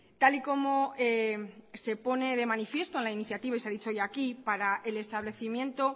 tal y como se pone de manifiesto en la iniciativa y se ha dicho hoy aquí para el establecimiento